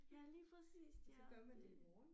Ja lige præcist ja det